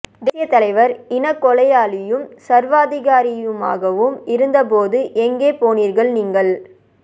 தேசிய தலைவர் இனக் கொலையாளியும் சர்வாதிகாரியுமாக வும் இருந்த போது எங்கே போனீர்கள்நீங்கள்